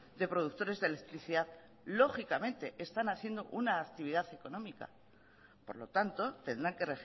de productores de electricidad lógicamente están haciendo una actividad económica por lo tanto tendrán que